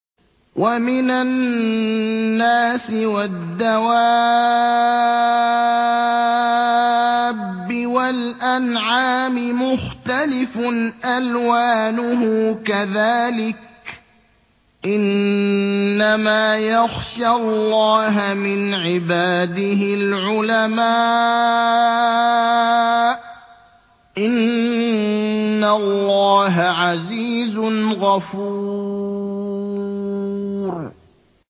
وَمِنَ النَّاسِ وَالدَّوَابِّ وَالْأَنْعَامِ مُخْتَلِفٌ أَلْوَانُهُ كَذَٰلِكَ ۗ إِنَّمَا يَخْشَى اللَّهَ مِنْ عِبَادِهِ الْعُلَمَاءُ ۗ إِنَّ اللَّهَ عَزِيزٌ غَفُورٌ